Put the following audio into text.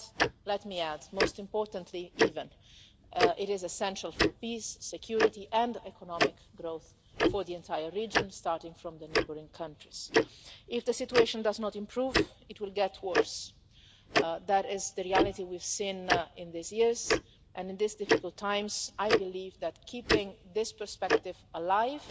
And let me add most importantly, even it is essential for peace, security and economic growth for the entire region, starting from the neighbouring countries. If the situation does not improve, it will get worse. That is the reality we have seen in these years, and in these difficult times I believe that keeping this perspective